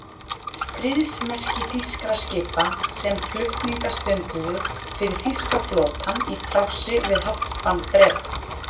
Stríðsmerki þýskra skipa, sem flutninga stunduðu fyrir þýska flotann í trássi við hafnbann Breta.